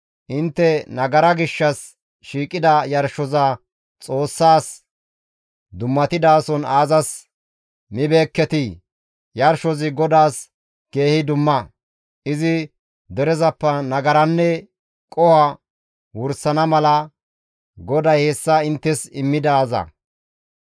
«Intte nagaraa gishshas shiiqida yarshoza Xoossas dummatidason aazas mibeekketii? Yarshozi GODAAS keehi dumma; izi derezappe nagaranne qoho wursana mala GODAY hessa inttes immidaaza.